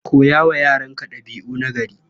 Koya wa yaranka ɗabi'u nagari.